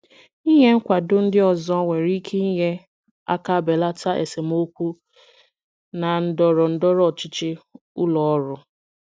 Ịnye nkwado ndị ọzọ nwere ike inye aka belata esemokwu na ndọrọ ndọrọ ọchịchị ụlọ ọrụ.